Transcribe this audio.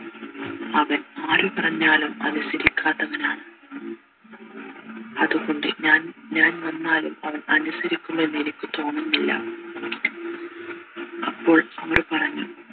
അവൻ ആര് പറഞ്ഞാലും അനുസരിക്കാത്തവനാണ് അത്കൊണ്ട് ഞാൻ ഞാൻ വന്നാലും അവൻ അനുസരിക്കും എന്നെനിക്കു തോന്നുന്നില്ല അപ്പോൾ അവർ പറഞ്ഞു